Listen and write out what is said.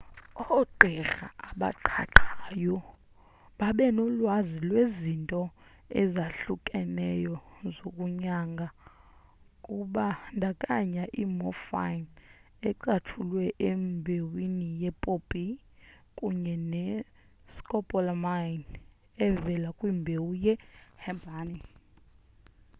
ogqirha abaqhaqhayo babenolwazi lwezinto ezahlukeneyo zokunyanga kubandakanya i-morphine ecatshulwe embewini ye-poppy kunye ne-scopolamine evela kwimbewu ye-herbane